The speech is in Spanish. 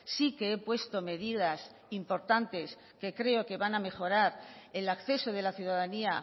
sí que he puesto medidas importantes que creo que van a mejorar el acceso de la ciudadanía